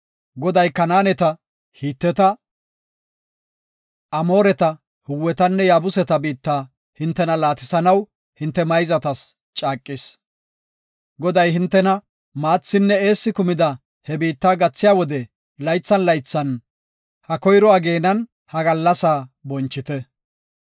Goday Kanaaneta, Hiteta, Amooreta, Hiwetanne Yaabuseta biitta hintena laatisanaw hinte mayzatas caaqis. Goday hintena maathinne eessi kumida he biitta gathiya wode laythan laythan ha koyro ageenan ha gallasaa bonchite.